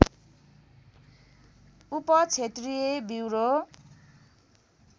उप क्षेत्रीय ब्युरो